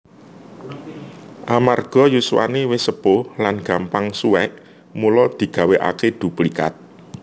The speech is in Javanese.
Amarga yuswane wis sepuh lan gampang suwek mula digawékake duplikat